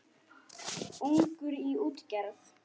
Ungur í útgerð